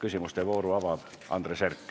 Palun, Andres Herkel!